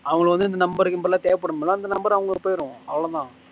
அவங்களுக்கு வந்து number கிம்பர் எல்லாம் தேவ படும்ல அந்த number அவங்களுக்கு போயிரும் அவ்ளோதான்